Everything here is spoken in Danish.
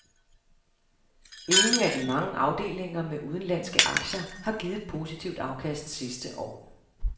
Ingen af de mange afdelinger med udenlandske aktier har givet et positivt afkast sidste år.